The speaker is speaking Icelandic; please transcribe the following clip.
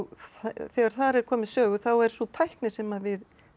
þegar þar er komið sögu þá er sú tækni sem við